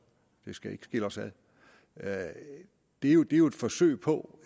det skal ikke skille os ad det er jo et forsøg på